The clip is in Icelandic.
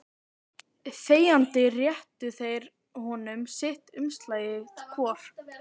Þegjandi réttu þeir honum sitt umslagið hvor.